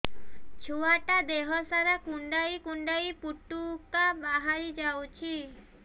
ଛୁଆ ଟା ଦେହ ସାରା କୁଣ୍ଡାଇ କୁଣ୍ଡାଇ ପୁଟୁକା ବାହାରି ଯାଉଛି